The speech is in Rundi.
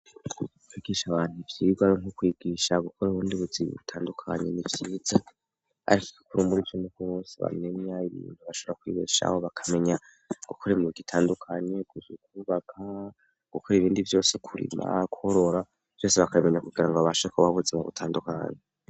Kigisha abantu ivyirwe ari nko kwigisha gukora ubundi buzibe butandukanye n' ivyiza, ariko igikura umuri cin'uko wose bamenya ibindu bashara kwigeshaho bakamenya gukoremuwa igitandukanye guza ukubaka gukora ibindi vyose kurima kuhorora vyose bakamenya kugira ngo babasha kubavuza ba butandukanya.